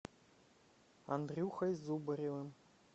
андрюхой зубаревым